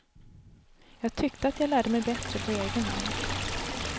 Jag tyckte att jag lärde mig bättre på egen hand.